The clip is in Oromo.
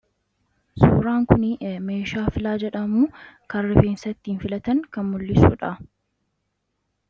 Suuraan kuni meeshaa filaa jedhamu, kan rifeensa ittiin filatan, kan mul'isu dha.